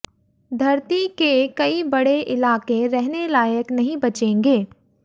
धरती के कई बड़े इलाके रहने लायक नहीं बचेंगे